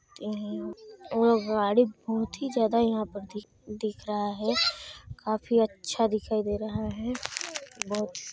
गाड़ी बहुत ही ज्यादा यहाँ पर दिख रहा है काफी अच्छा दिखाई देरा है। बहुत--